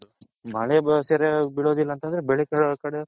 ಮಳೆ ಬಿಳೊದಿಲ್ಲ ಅಂತಂದ್ರೆ